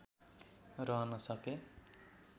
रहन सके